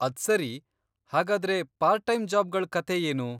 ಅದ್ಸರಿ, ಹಾಗಾದ್ರೆ part time ಜಾಬ್ಗಳ್ ಕತೆ ಏನು?